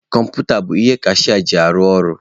Kọmputa bụ ihe kashịa ji arụ ọrụ.